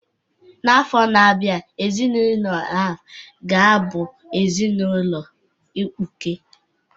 N'afọ na-abịa, ezinụlọ a ga-abụ ezinaụlọ